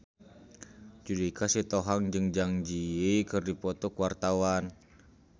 Judika Sitohang jeung Zang Zi Yi keur dipoto ku wartawan